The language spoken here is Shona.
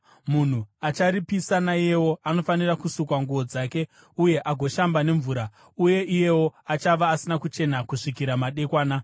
Munhu acharipisa naiyewo anofanira kusuka nguo dzake uye agoshamba nemvura uye iyewo achava asina kuchena kusvikira madekwana.